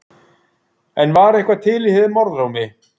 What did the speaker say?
En var eitthvað til í þeim orðrómi?